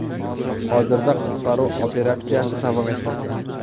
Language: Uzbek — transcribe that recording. Hozirda qutqaruv operatsiyasi davom etmoqda.